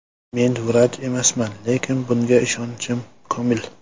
Men vrach emasman, lekin bunga ishonchim komil.